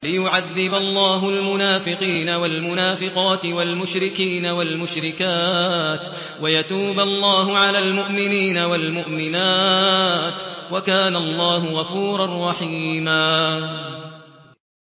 لِّيُعَذِّبَ اللَّهُ الْمُنَافِقِينَ وَالْمُنَافِقَاتِ وَالْمُشْرِكِينَ وَالْمُشْرِكَاتِ وَيَتُوبَ اللَّهُ عَلَى الْمُؤْمِنِينَ وَالْمُؤْمِنَاتِ ۗ وَكَانَ اللَّهُ غَفُورًا رَّحِيمًا